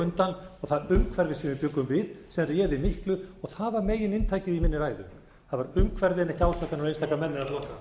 undan og það umhverfi sem við bjuggum við sem réði miklu og það var megininntakið í minni ræðu það